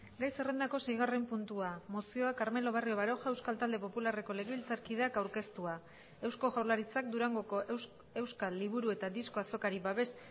gai zerrendako seigarren puntua mozioa carmelo barrio baroja euskal talde popularreko legebiltzarkideak aurkeztua eusko jaurlaritzak durangoko euskal liburu eta disko azokari babes